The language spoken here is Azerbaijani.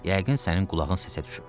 Yəqin sənin qulağın səsə düşüb.